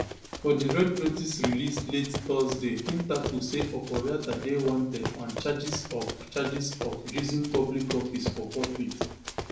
for di red notice released late thursday interpol say oforiatta dey wanted on charges of charges of using public office for profit